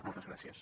moltes gràcies